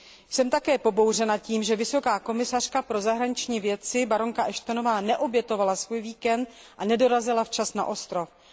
Jsem také pobouřena tím, že vysoká představitelka pro zahraniční věci baronka Ashtonová neobětovala svůj víkend a nedorazila na ostrov včas.